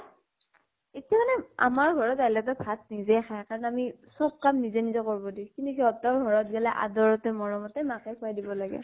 এতিয়া মানে আমাৰ ঘৰত আহিলে তো ভাত নিজেই খাই, কাৰণ আমি চব কাম নিজে নিজে কৰব দিওঁ । কিন্তু সিহঁতৰ ঘৰত গʼলে, আদৰতে মৰমতে মাকে খোৱাই দিব লাগে ।